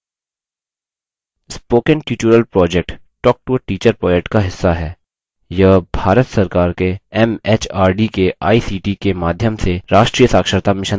spoken tutorial project talktoateacher project का हिस्सा है यह भारत सरकार के एमएचआरडी के आईसीटी के माध्यम से राष्ट्रीय साक्षरता mission द्वारा समर्थित है